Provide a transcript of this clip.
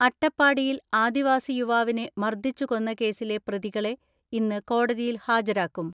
അട്ടപ്പാടിയിൽ ആദിവാസി യുവാവിനെ മർദ്ദിച്ചു കൊന്ന കേസിലെ പ്രതികളെ ഇന്ന് കോടതിയിൽ ഹാജരാക്കും.